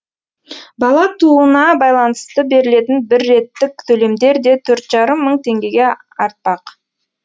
бала тууына байланысты берілетін бірреттік төлемдер де төрт жарым мың теңгеге артпақ